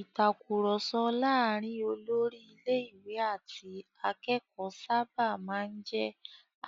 Ìtakùrọ̀sọ láàárin olórí ilé-ìwé àti akẹ́kọ̀ọ́ sábà máa ń jẹ́